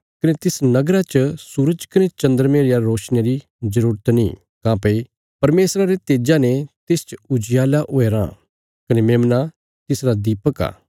कने तिस नगरा च सूरज कने चन्द्रमे रिया रोशनिया री जरूरत नीं काँह्भई परमेशरा रे तेजा ने तिसच उजियाला हुया राँ कने मेमना तिसरा दीपक आ